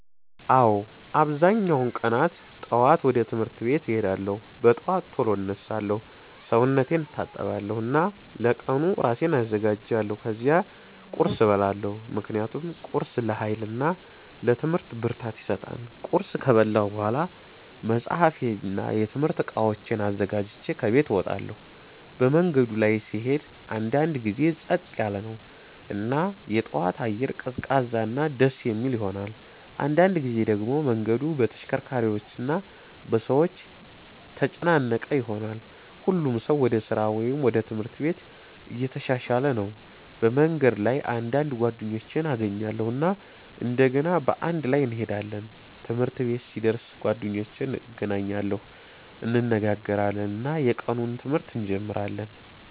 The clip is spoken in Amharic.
አዎ፣ አብዛኛውን ቀናት ጠዋት ወደ ትምህርት ቤት እሄዳለሁ። በጠዋት ቶሎ እነሳለሁ፣ ሰውነቴን እታጠባለሁ እና ለቀኑ እራሴን አዘጋጃለሁ። ከዚያ ቁርስ እበላለሁ ምክንያቱም ቁርስ ለኃይል እና ለትምህርት ብርታት ይሰጣል። ቁርስ ከበላሁ በኋላ መጽሐፌን እና የትምህርት እቃዎቼን አዘጋጅቼ ከቤት እወጣለሁ። መንገዱ ላይ ስሄድ አንዳንድ ጊዜ ጸጥ ያለ ነው እና የጠዋት አየር ቀዝቃዛ እና ደስ የሚል ይሆናል። አንዳንድ ጊዜ ደግሞ መንገዱ በተሽከርካሪዎች እና በሰዎች ተጨናነቀ ይሆናል፣ ሁሉም ሰው ወደ ስራ ወይም ወደ ትምህርት ቤት እየተሻሻለ ነው። በመንገድ ላይ አንዳንድ ጓደኞቼን እገናኛለሁ እና እንደገና በአንድ ላይ እንሄዳለን። ትምህርት ቤት ሲደርስ ጓደኞቼን እገናኛለሁ፣ እንነጋገራለን እና የቀኑን ትምህርት እንጀምራለን።